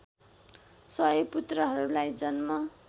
सय पुत्रहरूलाई जन्म